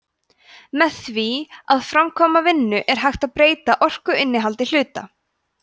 með því að framkvæma vinnu er hægt að breyta orkuinnihaldi hluta